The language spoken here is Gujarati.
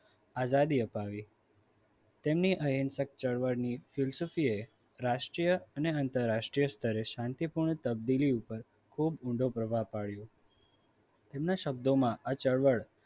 આઝાદી અપાવી તેમની અહિંસક ચળવળની ફિર સુખી એ રાષ્ટ્રીય અને આંતરરાષ્ટ્રીય શાંતિપૂર્ણ ઉપર ખૂબ ઊંડો પ્રભાવ પાડ્યો એમના શબ્દોમાં આ ચળવળ